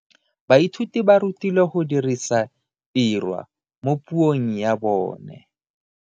Baithuti ba rutilwe go dirisa tirwa mo puong ya bone.